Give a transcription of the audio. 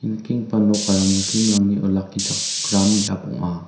ia nikenggipa nokara muslim-rangni olakichakram biap ong·a.